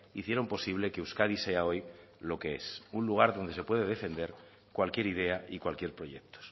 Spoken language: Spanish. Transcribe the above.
hicieron posible que euskadi sea hoy lo que es un lugar donde se puede defender cualquier idea y cualquier proyecto